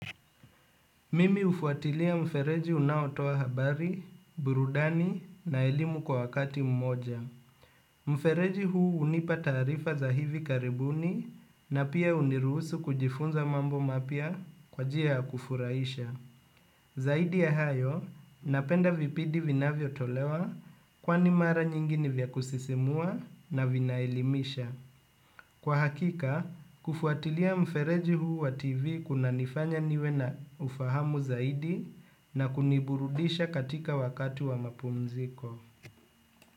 Mimi hufuatilia mfereji unaotoa habari, burudani na elimu kwa wakati mmoja. Mfereji huu hunipa taarifa za hivi karibuni na pia hunirusu kujifunza mambo mapya kwa njia ya kufuraisha. Zaidi ya hayo, napenda vipindi vinavyo tolewa kwani mara nyingi ni vya kusisimua na vina elimisha. Kwa hakika, kufuatilia mfereji huu wa TV kuna nifanya niwe na ufahamu zaidi na kuniburudisha katika wakati wa mapumziko.